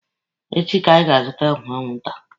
Echi ka anyị ga-azụta ọgwụ anwụnta.